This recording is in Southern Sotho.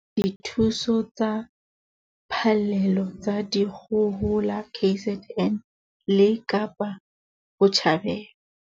Dithuso tsa phallelo tsa dikgohola KZN le Kapa Botjhabela.